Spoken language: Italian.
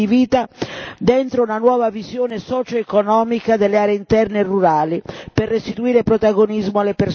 dentro una nuova visione socioeconomica delle aree interne rurali, per restituire protagonismo alle persone anziane.